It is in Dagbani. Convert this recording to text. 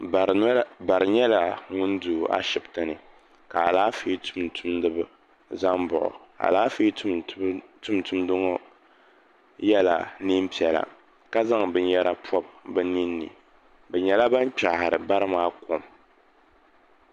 Bari nyɛla ŋun do Ashibiti ni ka alaafee tuutumdiba za m-baɣi o alaafee tuutumda ŋɔ yela neen'piɛla ka zaŋ binyɛra pɔbi bɛ nina ni bɛ nyɛla ban kpɛhiri bari maa kom.